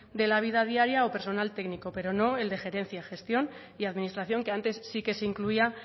de la vida diaria o personal técnico pero no el de gerencia gestión y administración que antes sí que se incluía